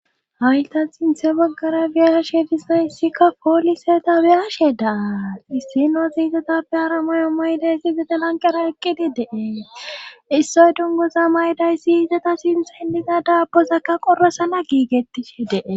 hayta xinthe baggara be7ashe dizayissikka pooliseta be7ashe daa issinoziizetappe haramayo maydayssi bidelanqara eqqidi dee issoy dunguza maydayssi yiizata sinthen diza daapozakka qorasana giigettishe dee